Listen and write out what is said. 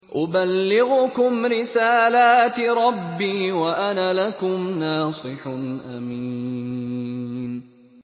أُبَلِّغُكُمْ رِسَالَاتِ رَبِّي وَأَنَا لَكُمْ نَاصِحٌ أَمِينٌ